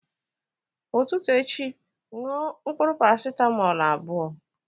Ụtụtụ echi ṅụọ mkpụrụ parasetamọl abụọ